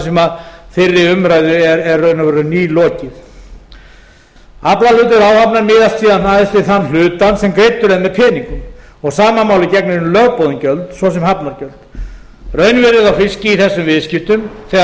sem fyrri umræðu er í raun og veru nýlokið aflahlutur áhafnar miðast síðan aðeins við þann hlutann sem greiddur er með peningum og sama máli gegnir um lögboðin gjöld svo sem hafnargjöld raunverðið á fiski í þessum viðskiptum þegar allt